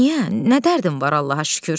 Niyə, nə dərdim var Allaha şükür.